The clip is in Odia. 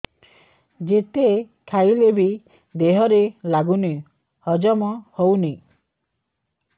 ଯେତେ ଖାଇଲେ ବି ଦେହରେ ଲାଗୁନି ହଜମ ହଉନି